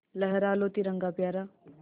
लहरा लो तिरंगा प्यारा